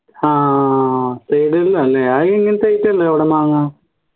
ആഹ് side ല്ലാല്ലേ അത് എങ്ങനത്തെ item അവിടെ മാങ്ങ